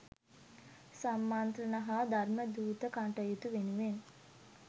සම්මන්ත්‍රණ හා ධර්මදූත කටයුතු වෙනුවෙන්